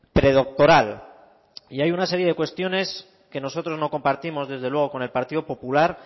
predoctoral y hay una serie de cuestiones que nosotros no compartimos desde luego con el partido popular